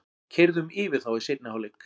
Keyrðum yfir þá í seinni hálfleiknum